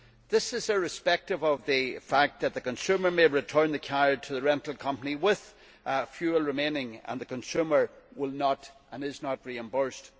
This is irrespective of the fact that the consumer may return the car to the rental company with fuel remaining and the consumer will not be and is not reimbursed.